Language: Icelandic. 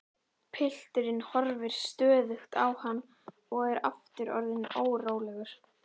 Pilturinn horfir stöðugt á hann og er aftur orðinn órólegur.